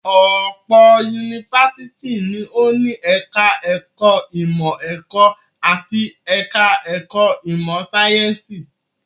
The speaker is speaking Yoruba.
Ọ̀pọ̀ yunifásitì ni ó ní ẹ̀ka-ẹ̀kọ́ ìmọ̀-ẹ̀kọ́ àti ẹ̀ka-ẹ̀kọ́ ìmọ̀-sáyẹ́ńsì.